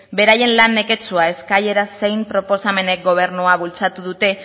beraien lan neketsua eskaerak zein proposamenak gobernua bultzatu dute